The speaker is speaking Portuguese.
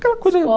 Aquela coisa...